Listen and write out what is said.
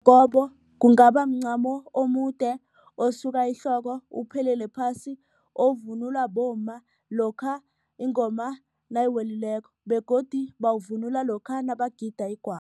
kungaba mncamo omude osuka ehloko uphelele phasi ovunulwa bomma lokha ingoma nayiwelileko begodu bawuvunula lokha nabagida igwabo.